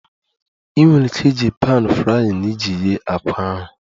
Ị nwere ike iji pan frying iji ghee àkwá ahụ